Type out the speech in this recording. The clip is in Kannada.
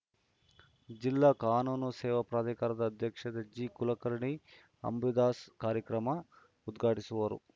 ಜಿಲ್ಲಾ ಕಾನೂನು ಸೇವಾ ಪ್ರಾಧಿಕಾರದ ಅಧ್ಯಕ್ಷ ಜಿಕುಲಕರ್ಣಿ ಅಂಬಾದಾಸ್‌ ಕಾರ್ಯಕ್ರಮ ಉದ್ಘಾಟಿಸುವರು